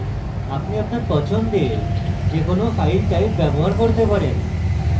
আপনি আপনার পছন্দের যে কোনো file type ব্যবহার করতে পারেন